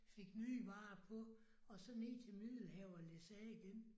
Fik nye varer på og så ned til Middelhavet og læsse af igen